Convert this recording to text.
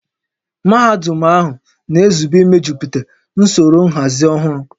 Mahadum ahụ na-ezube imejuputa usoro nhazi ọhụrụ